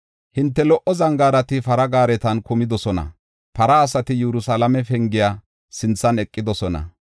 Hinte lo77o zangaarati para gaaretan kumidosona; para asati Yerusalaame pengiya sinthan eqidosona.